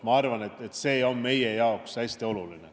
Ma arvan, et see on meie jaoks hästi oluline.